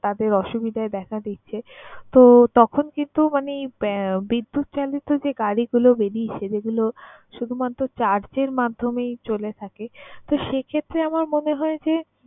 তাদের অসুবিধাই দেখা দিচ্ছে। তো, তখন কিন্তু মানে এই বিদ্যুৎ চালিত যে গাড়িগুলো বেরিয়েছে যেগুলো শুধুমাত্র charge এর মাধ্যমেই চলে থাকে, তো সেক্ষেত্রে আমার মনে হয় যে